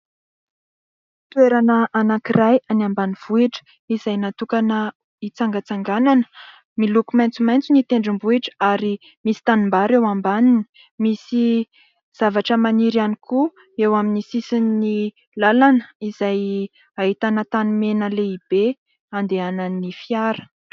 Toerana anankiray any ambanivohitra izay natokana hitsangatsanganana. Miloko maitsomaintso ny tendrombohidra ary misy tanimbary eo ambaniny. Misy zavatra maniry ihany koa eo amin'ny sisin'ny lalana izay hahitana tany mena lehibe andehanan'ny fiara.